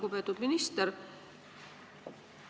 Lugupeetud minister!